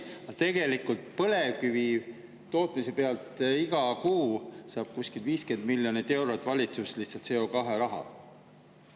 Aga tegelikult põlevkivi tootmise pealt iga kuu saab kuskil 50 miljonit eurot valitsus lihtsalt CO2 raha.